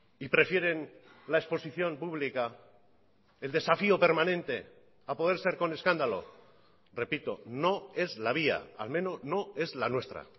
y prefieren la exposición pública el desafío permanente a poder ser con escándalo repito no es la vía al menos no es la nuestra